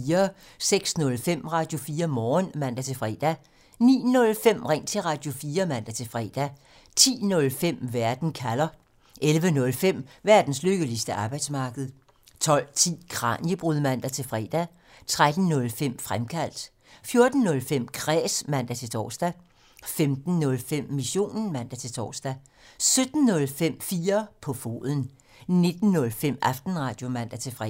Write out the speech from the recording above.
06:05: Radio4 Morgen (man-fre) 09:05: Ring til Radio4 (man-fre) 10:05: Verden kalder (man) 11:05: Verdens lykkeligste arbejdsmarked (man) 12:10: Kraniebrud (man-fre) 13:05: Fremkaldt (man) 14:05: Kræs (man-tor) 15:05: Missionen (man-tor) 17:05: 4 på foden (man) 19:05: Aftenradio (man-fre)